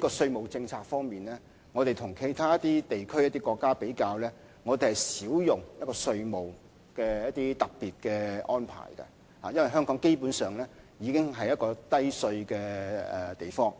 就稅務政策而言，與其他一些地區、國家比較，香港是較少使用稅務上的特別安排，因為香港基本上已經是一個低稅的地方。